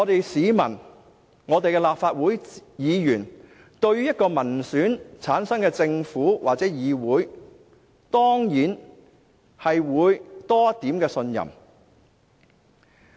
市民和立法會議員對於一個由民選產生的政府或議會，當然會有多一點信任。